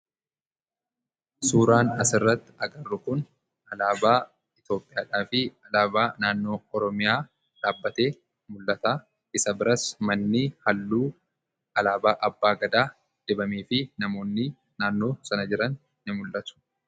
Suuraan asirratti agarru kun alaabaa Itoopiyaadhaa fi alaabaa naannoo Oromiyaa dhaabatee mul'ata isa biras manni halluu alaabaa abbaa gadaa dibamee fi namoonni naannoo sana jiran ni mul'atuu.